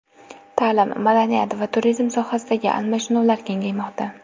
Ta’lim, madaniyat va turizm sohasidagi almashinuvlar kengaymoqda.